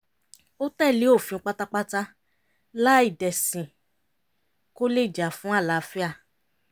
ó tẹ̀lé òfin pátápátá láì dẹ̀sìn kó lè jà fún àlàáfíà